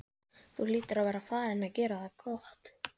Þú hlýtur að vera farinn að gera það gott!